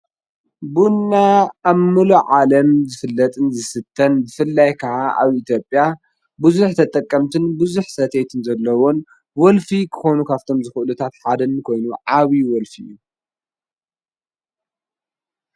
ቡና ኣብ ሙሉእ ዓለም ዝፍለጥን ዝስተን፣ ብፍላይ ከዓ ኣብ ኢትዮጵያ ብዙሕ ተጠቀምትን ብዙሕ ሰተይትን ዘለዉዎን ወልፊ ክኾኑ ካብቶም ዝኽእሉ ሓደ ኮይኑ ዓብይ ወልፊ እዩ።